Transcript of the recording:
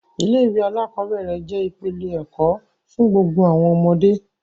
Ilé-ìwé aláàkọ́bẹ̀rẹ̀ jẹ́ ìpìlẹ̀ ẹ̀kọ́ fún gbogbo àwọn ọmọdé.